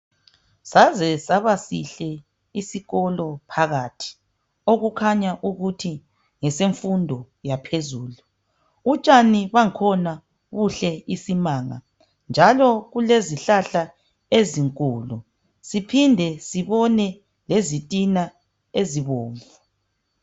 Saze saba sihle isikolo phakathi okukhanya ukuthi ngesemfundo yaphezulu. Utshani bakhona buhle isimanga njalo kulezihlahla ezinkulu, siphinde sibone izitina ezibomvu.